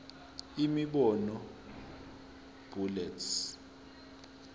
imibono b bullets